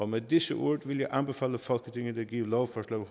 med disse ord vil jeg anbefale folketinget at give lovforslag